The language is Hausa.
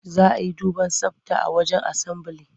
Za a yi duban tsabta a wajen asambili.